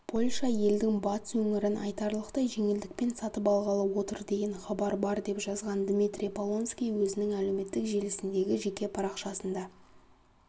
польша елдің батыс өңірін айтарлықтай жеңілдікпен сатып алғалы отыр деген хабар бар деп жазған дмитрий полонский өзінің әлеуметтік желісіндегі жеке парақшасында